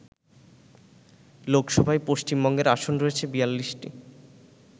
লোকসভায় পশ্চিমবঙ্গের আসন রয়েছে ৪২টি